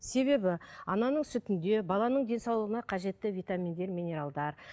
себебі ананың сүтінде баланың денсаулығына қажетті витаминдер минералдар